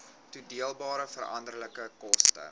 toedeelbare veranderlike koste